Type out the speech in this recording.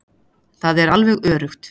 Það er alveg öruggt.